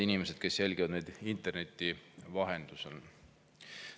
Head inimesed, kes te jälgite meid interneti vahendusel!